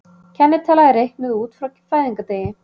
Kennitala er reiknuð út frá fæðingardegi.